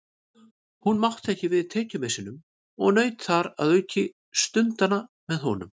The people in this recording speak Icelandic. Hún mátti ekki við tekjumissinum og naut þar að auki stundanna með honum.